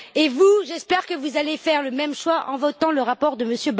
Et vous, j'espère que vous allez faire le même choix en votant le rapport de M.